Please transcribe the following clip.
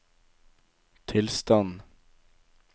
tilstand